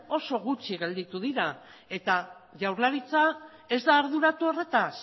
oso gutxi gelditu direla eta jaurlaritza ez da arduratu horretaz